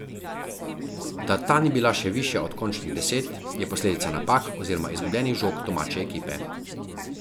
Da ta ni bila še višja od končnih deset, je posledica napak, oziroma izgubljenih žog domače ekipe.